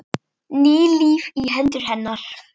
Ný lífi í hendur hennar.